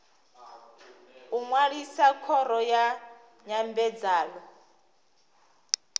u ṅwalisa khoro ya nyambedzano